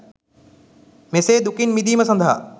මෙසේ දුකින් මිදීම සඳහා